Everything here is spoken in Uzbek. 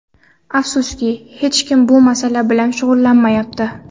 Afsuski, hech kim bu masala bilan shug‘ullanmayapti.